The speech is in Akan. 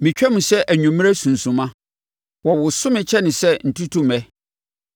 Metwam sɛ anwummerɛ sunsumma; wɔwoso me kyene sɛ ntutummɛ.